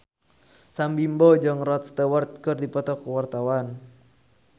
Sam Bimbo jeung Rod Stewart keur dipoto ku wartawan